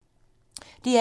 DR1